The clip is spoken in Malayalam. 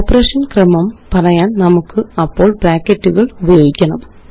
ഓപ്പറേഷന് ക്രമം പറയാന് നമുക്കപ്പോള് ബ്രാക്കറ്റുകള് ഉപയോഗിക്കണം